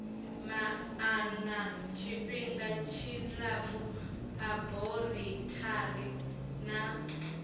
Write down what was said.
maana tshifhinga tshilapfu aborithari na